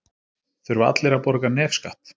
Þurfa allir að borga nefskatt?